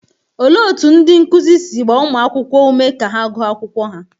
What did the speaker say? Olee otú ndị nkụzi si gbaa ụmụ akwụkwọ ume ka ha gụọ akwụkwọ ha?